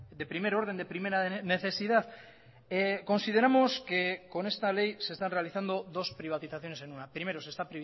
de primer orden de primera necesidad consideramos que con esta ley se están realizando dos privatizaciones en una primero se está